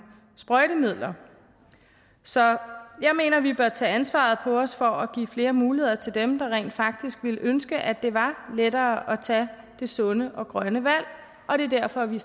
sprøjtemidler så jeg mener at vi bør tage ansvaret på os for at give flere muligheder til dem der rent faktisk ville ønske at det var lettere at tage det sunde og grønne valg og det er derfor vi